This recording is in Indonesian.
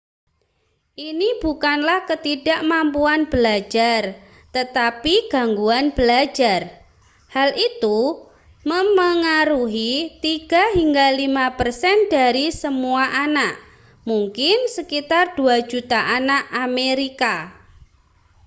ini bukanlah ketidakmampuan belajar tetapi gangguan belajar hal itu memengaruhi 3 hingga 5 persen dari semua anak mungkin sekitar 2 juta anak amerika